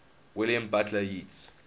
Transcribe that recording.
william butler yeats